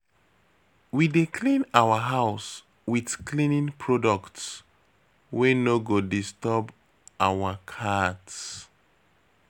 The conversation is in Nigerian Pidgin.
We dey clean our house wit cleaning products wey no go disturb our cat.